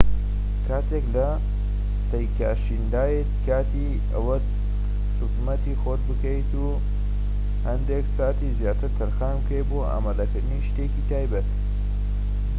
کاتێک لە ستەیکاشندایت کاتی ئەوەت خزمەتی خۆت بکەیت و هەندێک ساتی زیاتر تەرخان بکەیت بۆ ئامادەکردنی شتێکی تایبەت